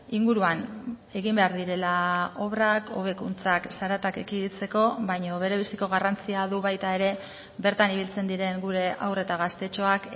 inguruan egin behar direla obrak hobekuntzak zaratak ekiditeko baina berebiziko garrantzia du baita ere bertan ibiltzen diren gure haur eta gaztetxoak